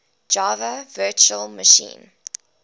java virtual machine